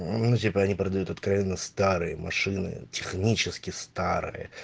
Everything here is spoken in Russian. ну типа они продают откровенно старые машины